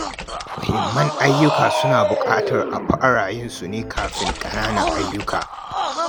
Muhimman ayyuka suna buƙatar a fara yin su kafin ƙananan ayyuka.